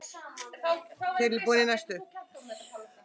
Takk fyrir allt, kæri vinur.